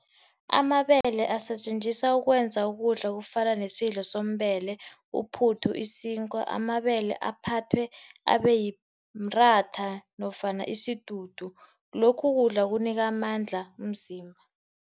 Amabele asetjenziswa ukwenza ukudla okufana nesidlo uphuthu, isinkwa amabele aphathwe abe mratha nofana isidudu. Lokhu kudla kunika amandla umzimba.